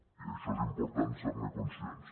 i això és important ser·ne conscients